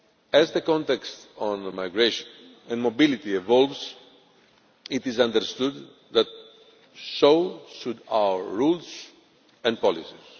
As the context on migration and mobility evolves, it is understood that so should our rules and policies.